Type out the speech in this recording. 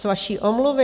Z vaší omluvy?